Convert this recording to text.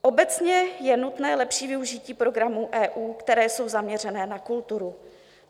Obecně je nutné lepší využití programů EU, které jsou zaměřeny na kulturu.